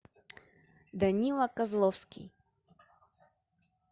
данила козловский